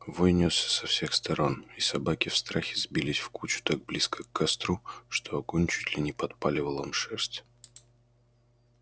вой нёсся со всех сторон и собаки в страхе сбились в кучу так близко к костру что огонь чуть ли не подпаливал им шерсть